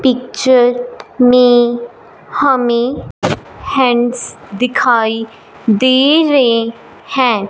Picture में हमें hands दिखाई दे रहे हैं।